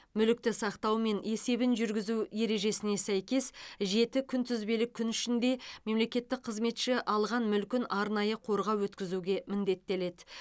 мүлікті сақтау мен есебін жүргізу ережесіне сәйкес жеті күнтізбелік күн ішінде мемлекеттік қызметші алған мүлкін арнайы қорға өткізуге міндеттеледі